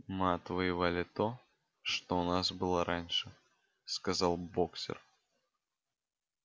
мы отвоевали то что у нас было раньше сказал боксёр